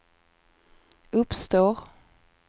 uppstår